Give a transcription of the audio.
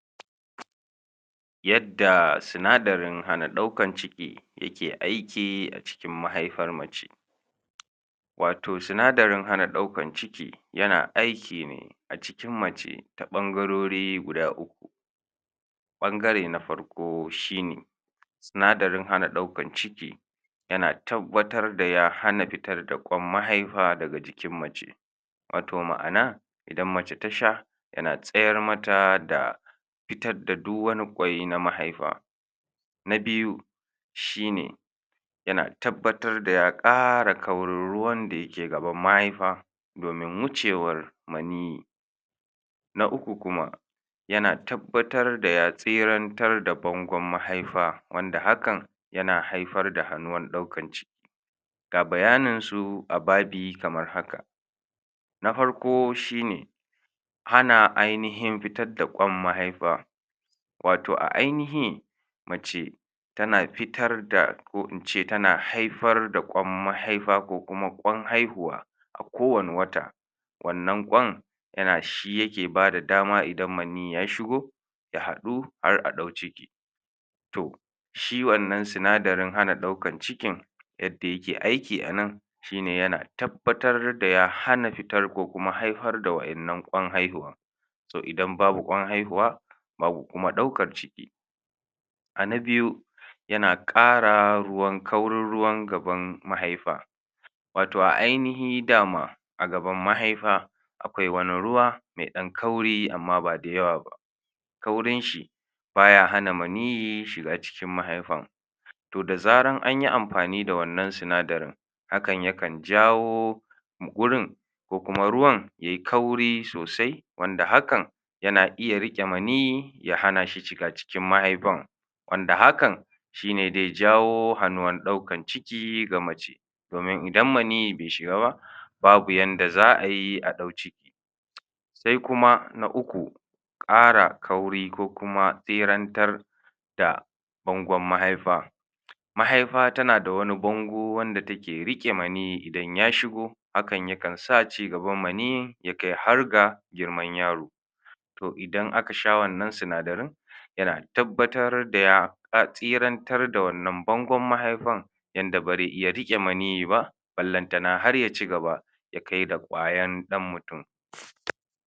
Yadda sunadarin hana daukan ciki yake aiki a cikin mahaifar mace wato sunadarin hana daukan ciki yana aiki ne a cikin mace ta bangarori guda uku Bangare na farko shi ne sunadarin hana daukan ciki yana tabbatar da ya hana fitar da mahaifa daga jikin mace wato ma'ana, idan mace ta sha yana tsayar mata da fitar da duk wani quai na mahaifa. Na biyu shi ne yana tabbatar da ya kara kaurin ruwan dake gaban mahaifa domin wucewar ] Na uku kuma, yana tabbatar da ya siyartan da bangon mahaifa wanda hakan yana haifar da hanuwan daukan ciki ga bayanin su kamar haka na farko shi ne han ainihin fitar da mahaifa wato a ainihi mace tana fitar da ko ince tana haifar da kwam mahaifa ko kuma kwan haihuwa A kowane wata, wannan kwan yana, shi yake ba da dama idan ya shigo ya hadu har a dau ciki toh shi wannan sunadarin hana daukan ciki yadda yake aiki a nan shi ne yana tabbatar da ya hana fitar ko kuma haifar da wadannan kwan haihuwa so idan babu kwan haihuwa babu kuma daukan ciki A na biyu, yana kara ruwan, kaurin ruwan gaban mahaifa wato a ainihi dama a gaban mahaifa akwai wani ruwa me dan kauri amma ba da yawa ba kaurin shi, baya hana manihi shiga cikin mahaifan toh da zaran anyi amfani da wannan sunadarin, hakan yakan jawo wurin ko kuma ruwan yayi kauri sosai wanda hakan yana iya rike mani ya hana shi shigan cikin mahaifan wand hakan shi ne dai jawo hanuwan daukan ciki ga mace domin idan mani be shiga ba, babu yanda za a yi a dau ciki sai kuma na uku, kara kauri ko kuma sirantar da bangon mahaifa, mahaifa tana da wani bongo wanda take rike mani idan ya shigo, hakan yakan sa cigaban mani ya kai har ga girman yaro toh idan aka sha wannan sunadarin, yana tabbatar da ya tsirantar da wannan bongon mahaifan yanda ba ze iya rike mani ba balantana har ya cigaba